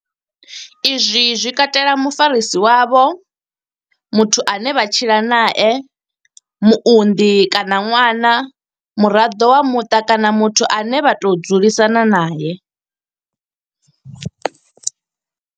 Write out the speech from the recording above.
Izwi zwi katela mufarisi wavho muthu ane vha tshila nae muunḓi kana ṅwana muraḓo wa muṱa kana muthu ane vha tou dzulisana nae.